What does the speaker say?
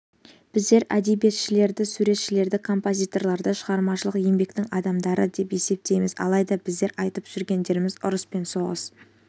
біздер әдебиетшілерді суретшілерді композиторларды шығармашылық еңбектің адамдары деп есептейміз алайда біздер айтып жүргендеріміздей ұрыс пен соғыс